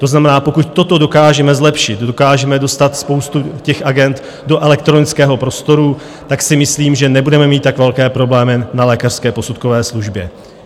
To znamená, pokud toto dokážeme zlepšit, dokážeme dostat spoustu těch agend do elektronického prostoru, tak si myslím, že nebudeme mít tak velké problémy na lékařské posudkové službě.